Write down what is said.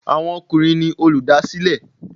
Àwọn ọkùnrin ni olùdásílẹ̀.